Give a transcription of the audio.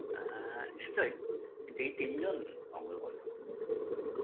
আ নিশ্চয় এই তিনজন অগ্রগণ্য